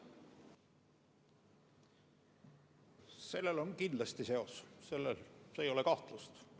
Sellel on kindlasti seos, selles ei ole kahtlust.